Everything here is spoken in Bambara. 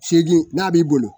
Seegin n'a b'i bolo